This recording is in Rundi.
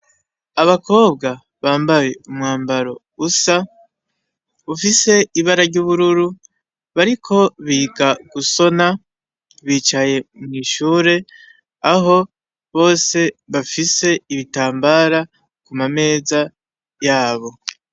Abakobwa bambaye umwambaro usa. Ufise ibara ry'ubururu bariko biga gusona, bicaye mw'ishure aho bose bafise ibitambara bicaye ku ma meza yabo.